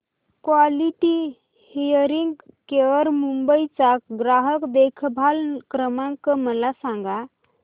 quality hearing care Mumbai चा ग्राहक देखभाल क्रमांक मला सांगा